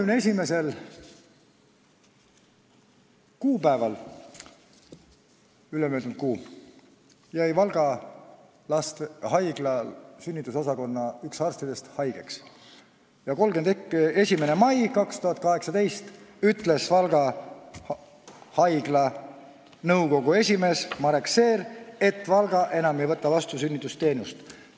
Ülemöödunud kuu 31. kuupäeval jäi Valga Haigla sünnitusosakonna üks arstidest haigeks ja 31. mail 2018 ütles Valga Haigla juhataja Marek Seer, et Valga ei võta enam sünnitusi vastu.